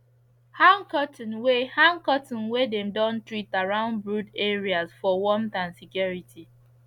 hang curtain wey hang curtain wey dem don treat around brood areas for warmth and security